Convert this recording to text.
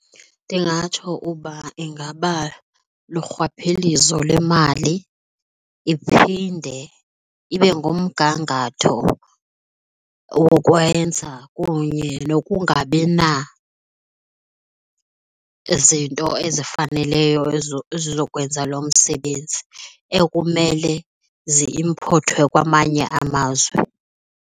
Ndingatsho uba ingaba lurhwaphilizo lemali iphinde ibe ngumgangatho wokwenza kunye nokungabi nazinto ezifaneleyo ezizokwenza lo msebenzi ekumele zi-imphothwe kwamanye amazwe.